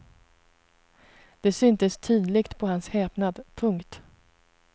Det syntes tydligt på hans häpnad. punkt